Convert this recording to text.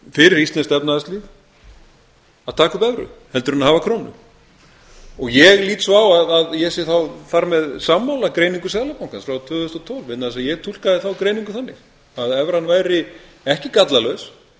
fyrir íslenskt efnahagslíf að taka upp evru heldur en hafa krónu ég lít svo á að ég sé þá þar með sammála greiningu seðlabankans frá tvö þúsund og tólf degi þess að ég túlkaði þá greiningu þannig að evran væri ekki gallalaus